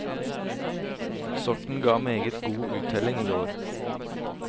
Sorten ga meget god uttelling i år.